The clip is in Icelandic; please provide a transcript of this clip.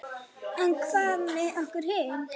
En hvað með okkur hin?